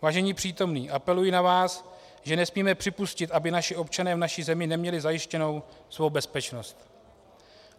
Vážení přítomní, apeluji na vás, že nesmíme připustit, aby naši občané v naší zemi neměli zajištěnou svou bezpečnost.